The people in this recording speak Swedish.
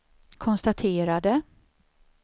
konstaterade